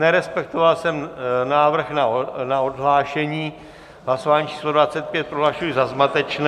Nerespektoval jsem návrh na odhlášení, hlasování číslo 25 prohlašuji za zmatečné.